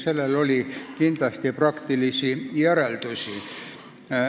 Sellel oli ka palju praktilisi järelmeid.